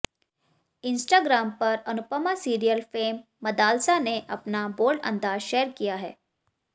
Instagram पर Anupama serial fame Madalsa ने अपना बोल्ड अंदाज शेयर किया है